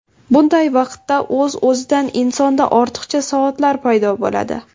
Bunday vaqtda o‘z-o‘zidan insonda ortiqcha soatlar paydo bo‘ladi.